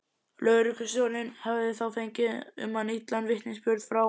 Lögreglustjórinn hafði þá fengið um hann illan vitnisburð frá